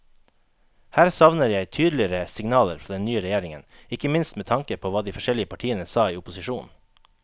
Her savner jeg tydeligere signaler fra den nye regjeringen, ikke minst med tanke på hva de forskjellige partiene sa i opposisjon.